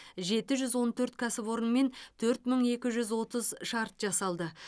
жеті жүз он төрт кәсіпорынмен төрт мың екі жүз отыз шарт жасалды